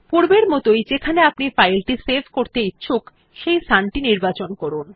পূর্বের মতই যেখানে আপনি ফাইল টি সেভ করতে ইচ্ছুক সেই স্থান টি নির্বাচন করুন